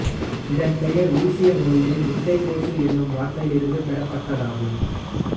இதன் பெயர் உருசிய மொழியில் முட்டைக்கோசு எனும் வார்த்தையிலிருந்து பெறப்பட்டதாகும்